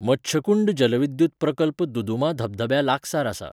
मच्छकुंड जलविद्युत प्रकल्प दुदुमा धबधब्या लागसार आसा.